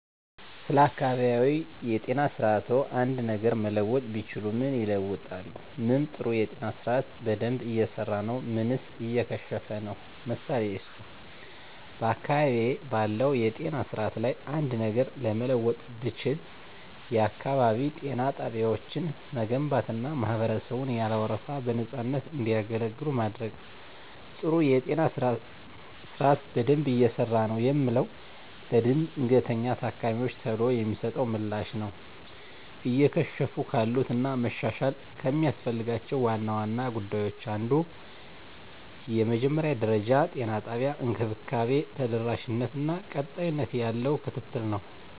ስለ አካባቢያዊ የጤና ስርዓትዎ አንድ ነገር መለወጥ ቢችሉ ምን ይለውጣሉ? ምን ጥሩ የጤና ስርአት በደንብ እየሰራ ነው ምንስ እየከሸፈ ነው? ምሳሌ ይስጡ። *በአካባቢዬ ባለው የጤና ስርዓት ላይ አንድ ነገር ለመለወጥ ብችል፣ *የአካባቢ ጤና ጣቢያዎችን መገንባትና ማህበረሰቡን ያለ ወረፋ በነፃነት እንዲገለገሉ ማድረግ። *ጥሩ የጤና ስርዓት በደንብ እየሰራ ነው የምለው፦ ለድንገተኛ ታካሚወች ቶሎ የሚሰጠው ምላሽ ነው። *እየከሸፉ ካሉት እና መሻሻል ከሚያስፈልጋቸው ዋና ዋና ጉዳዮች አንዱ የመጀመሪያ ደረጃ የጤና እንክብካቤ ተደራሽነት እና ቀጣይነት ያለው ክትትል ነው።